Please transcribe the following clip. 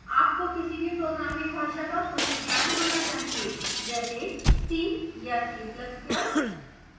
आपको किसी भी programming भाषा का कुछ ज्ञान होना चाहिए जैसे c या c ++